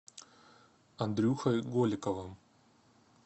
андрюхой голиковым